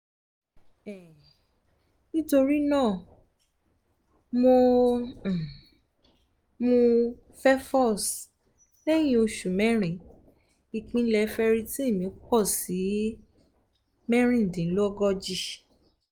um nítorí náà mò um ń mú fefolz lẹ́yìn oṣù mẹ́rin ìpele ferritin mi pọ̀ sí mẹ́rìndínlógójì